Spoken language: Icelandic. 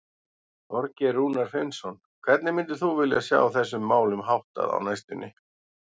Þorgeir Rúnar Finnsson: Hvernig myndir þú vilja sjá þessum málum háttað á næstunni?